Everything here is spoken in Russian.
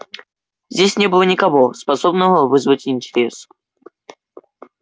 здесь не было никого способного вызвать интерес